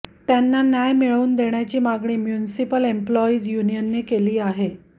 त्यांना न्याय मिळवून देण्याची मागणी म्युनिसिपल एम्प्लॉईज युनियनने केली आहे